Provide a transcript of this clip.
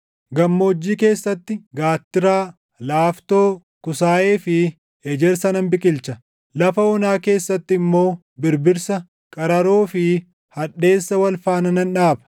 Gammoojjii keessatti gaattiraa, laaftoo, kusaayee fi ejersa nan biqilcha. Lafa onaa keessatti immoo, Birbirsa, qararoo fi hadheessa wal faana nan dhaaba.